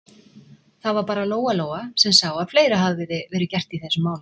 Það var bara Lóa-Lóa sem sá að fleira hafði verið gert í þessum málum.